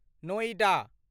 Noida